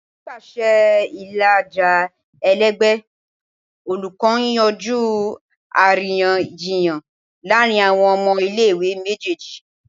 Nipasẹ ilaja ẹlẹgbẹ, olukọ n yanju ariyanjiyan laarin awọn ọmọ ile-iwe mejeeji.